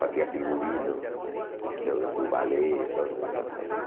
Fazia figurino do do ballet, todas essas coisas.